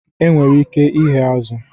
Enwere ike ighe azụ̀